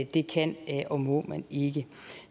det kan og må man ikke